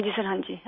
हाँजी सर हाँजी